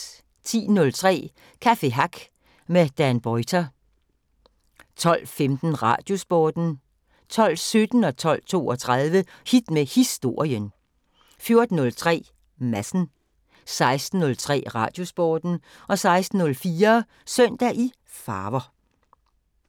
10:03: Café Hack med Dan Boyter 12:15: Radiosporten 12:17: Hit med Historien 12:32: Hit med Historien 14:03: Madsen 16:03: Radiosporten 16:04: Søndag i farver